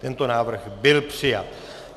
Tento návrh byl přijat.